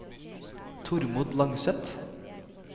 Tormod Langseth